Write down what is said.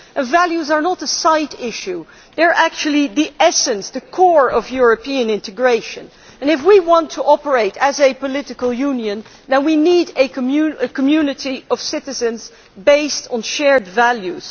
Values are not a side issue. They are actually the essence, the core, of European integration and if we want to operate as a political union now we need a community of citizens based on shared values.